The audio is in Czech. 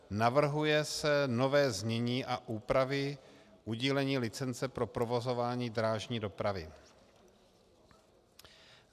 Navrhuje se nové znění a úpravy udílení licence pro provozování drážní dopravy.